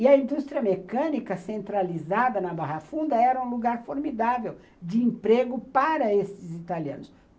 E a indústria mecânica centralizada na Barra Funda era um lugar formidável de emprego para esses italianos.